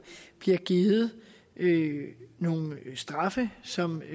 bliver givet nogle straffe som